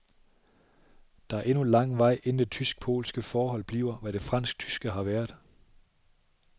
Der er endnu lang vej, inden det tysk-polske forhold bliver, hvad det fransk-tyske har været.